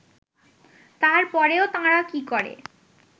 তার পরেও তাঁরা কী করে